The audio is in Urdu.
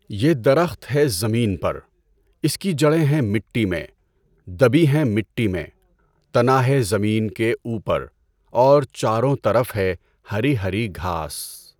یہ درخت ہے زمین پر، اس کی جڑیں ہیں مٹی میں، دبی ہیں مٹی میں، تنا ہے زمین کے اوپر، اور چاروں طرف ہے ہری ہری گھاس۔